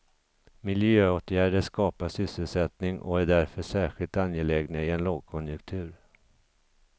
Miljöåtgärder skapar sysselsättning och är därför särskilt angelägna i en lågkonjunktur.